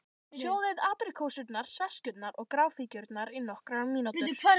Sjóðið apríkósurnar, sveskjurnar og gráfíkjurnar í nokkrar mínútur.